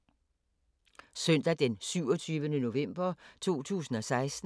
Søndag d. 27. november 2016